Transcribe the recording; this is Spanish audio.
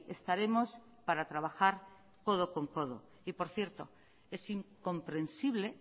estaremos para trabajar codo con codo y por cierto es incomprensible